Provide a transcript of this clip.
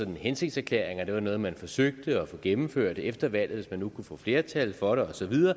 hensigtserklæringer det var noget man forsøgte at få gennemført efter valget hvis man nu kunne få flertal for det